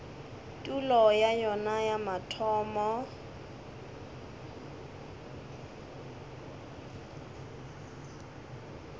tulo ya yona ya mathomo